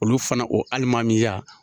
Olu fana o alimamiya.